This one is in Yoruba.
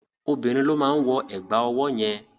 Obìnrin ló máa wọ ẹ̀gbà ọwọ́ yẹn.